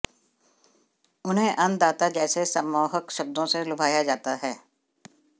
उन्हें अन्नदाता जैसे सम्मोहक शब्दों से लुभाया जाता है